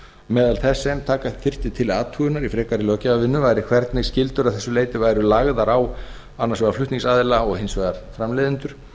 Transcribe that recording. meðal þess sem taka þyrfti til athugunar í frekari löggjafarvinnu væri hvernig skyldur að þessu leyti væru lagðar á annars vegar flutningsaðila og hins vegar framleiðendur